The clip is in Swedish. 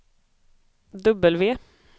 W